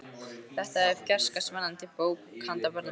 Þetta er fjarska spennandi bók handa börnum.